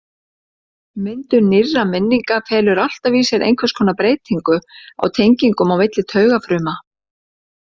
Myndun nýrra minninga felur alltaf í sér einhvers konar breytingu á tengingum á milli taugafruma.